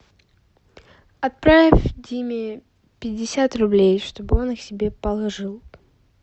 отправь диме пятьдесят рублей чтобы он их себе положил